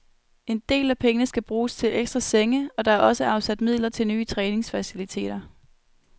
En del af pengene skal bruges til ekstra senge, og der er også afsat midler til nye træningsfaciliteter.